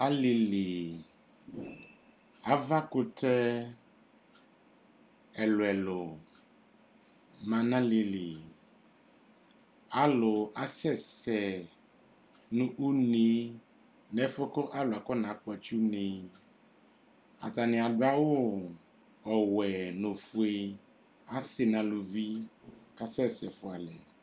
Alili, ava kutɛ ɛlu ɛlu ma nalili Alu asɛsɛ nu une nu ɛfuɛ kalu afɔ nakpotsɩ une Atanɩ aɖu awu ɔwɛ nu ofoe, asɩ naluvk kasɛsɛ foalɛ